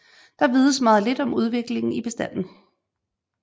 Der vides meget lidt om udviklingen i bestanden